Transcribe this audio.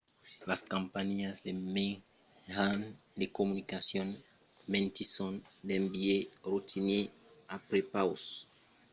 las companhiás de mejans de comunicacion mentisson d'un biais rotinièr a prepaus de la tòca d'aquò en afirmant qu'es per evitar lo piratatge